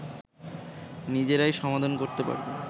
নিজেরাই সমাধান করেতে পারবে